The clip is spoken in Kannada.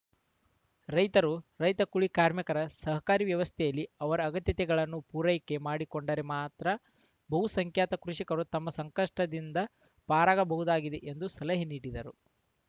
ರೈತರು ರೈತಕೂಲಿ ಕಾರ್ಮಿಕರು ಸಹಕಾರಿ ವ್ಯವಸ್ಥೆಯಲ್ಲಿ ಅವರ ಅಗತ್ಯತೆಗಳನ್ನು ಪೂರೈಕೆ ಮಾಡಿಕೊಂಡರೆ ಮಾತ್ರ ಬಹು ಸಂಖ್ಯಾತ ಕೃಷಿಕರು ತಮ್ಮ ಸಂಕಷ್ಟದಿಂದ ಪಾರಾಗಬಹುದಾಗಿದೆ ಎಂದು ಸಲಹೆ ನೀಡಿದರು